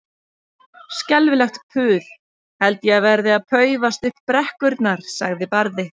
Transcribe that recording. Skelfilegt puð held ég verði að paufast upp brekkurnar, sagði Barði.